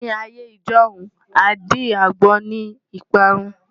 Ní ayé ijọ́hun, àdí-àgbon ni ìparun.